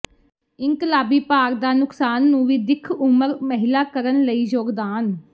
ਇਨਕਲਾਬੀ ਭਾਰ ਦਾ ਨੁਕਸਾਨ ਨੂੰ ਵੀ ਦਿੱਖ ਉਮਰ ਮਹਿਲਾ ਕਰਨ ਲਈ ਯੋਗਦਾਨ